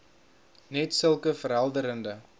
net sulke verhelderende